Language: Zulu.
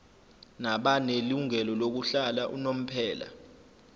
nabanelungelo lokuhlala unomphela